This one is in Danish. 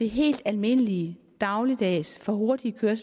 helt almindelige dagligdags for hurtige køren